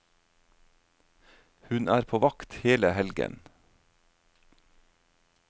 Hun er på vakt hele helgen.